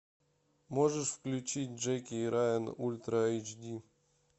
можешь включить джеки и райан ультра эйч ди